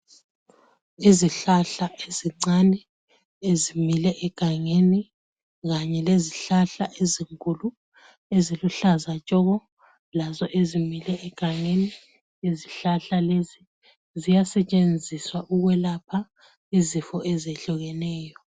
Izihlahla ezincane ezimile egangeni kanye lezihlahla ezinkulu eziluhlaza tshoko lazo ezimile egangeni. Izihlahla lezi ziyasetshenziswa ukwelapha izifo ezehlukeneyo.